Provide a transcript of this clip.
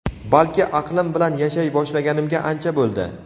balki aqlim bilan yashay boshlaganimga ancha bo‘ldi.